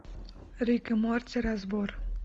рик и морти разбор